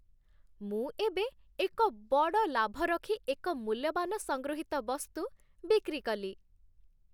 ମୁଁ ଏବେ ଏକ ବଡ଼ ଲାଭ ରଖି ଏକ ମୂଲ୍ୟବାନ ସଂଗୃହୀତ ବସ୍ତୁ ବିକ୍ରି କଲି